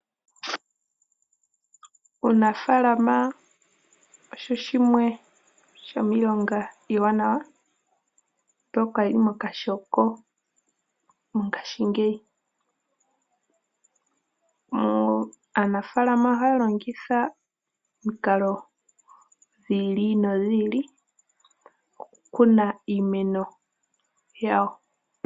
Uunafaalama osho shimwe shomiilonga iiwanawa mboka yili mokashoko mongashingeyi. Aanafaalama ohaya longitha omikalo dhili nodhili dhokukuna iimeno yawo.